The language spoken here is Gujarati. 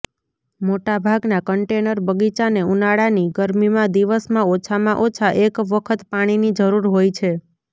મોટાભાગના કન્ટેનર બગીચાને ઉનાળાની ગરમીમાં દિવસમાં ઓછામાં ઓછા એક વખત પાણીની જરૂર હોય છે